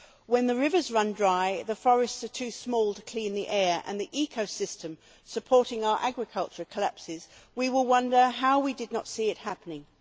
When the rivers run dry, the forests are too small to clean the air and the ecosystem supporting our agriculture collapses, we will wonder how we did not see it happening.